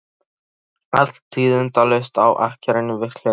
Allt tíðindalaust á akreininni við hliðina.